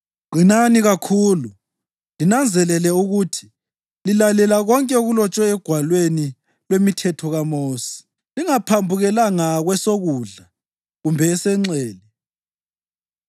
Qinani kakhulu; linanzelele ukuthi lilalela konke okulotshwe eGwalweni lwemiThetho kaMosi, lingaphambukelanga kwesokudla kumbe esenxele.